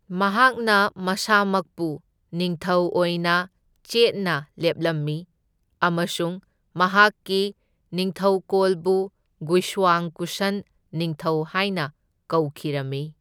ꯃꯍꯥꯛꯅ ꯃꯁꯥꯃꯛꯄꯨ ꯅꯤꯡꯊꯧ ꯑꯣꯏꯅ ꯆꯦꯠꯅ ꯂꯦꯞꯂꯝꯃꯤ ꯑꯃꯁꯨꯡ ꯃꯍꯥꯛꯀꯤ ꯅꯤꯡꯊꯧꯀꯣꯜꯕꯨ ꯒꯨꯏꯁ꯭ꯋꯥꯡ ꯀꯨꯁꯟ ꯅꯤꯡꯊꯧ ꯍꯥꯢꯅ ꯀꯧꯈꯤꯔꯝꯃꯤ꯫